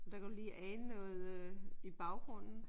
Der kan du ligne ane noget i baggrunden